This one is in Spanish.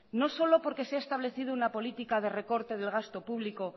no solo porque se ha establecido una política de recorte del gasto público